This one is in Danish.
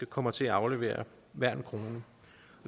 kommer til at aflevere hver en krone